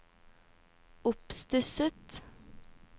oppstusset